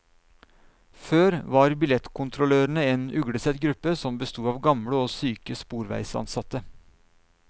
Før var billettkontrollørene en uglesett gruppe som besto av gamle og syke sporveisansatte.